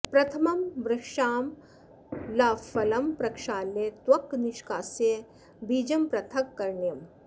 प्रथमम् वृक्षामलाफलं प्रक्षाल्य त्वक् निष्कास्य बीजं पृथक् करणीयम्